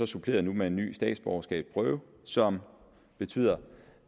suppleret med en ny statsborgerskabsprøve som betyder